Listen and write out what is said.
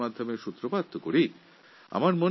সর্বপ্রথম আমাদের এই বিষয়ে আলোচনা শুরু করা দরকার